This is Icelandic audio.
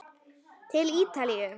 Til Ítalíu!